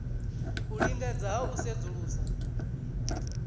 u lingedza ha u sedzulusa